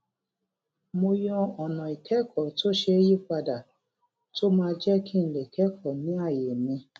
mo yan ònà ìkékòó tó ṣeé yí padà tó máa jé kí n lè kékòó ní àyè mi